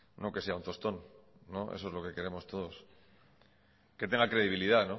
no que sea un tostón eso es lo que queremos todos que tenga credibilidad